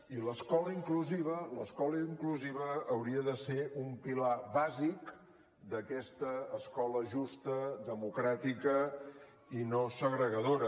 i l’escola inclusiva l’escola inclusiva hauria de ser un pilar bàsic d’aquesta escola justa democràtica i no segregadora